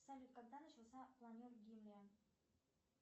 салют когда начался планер гимлия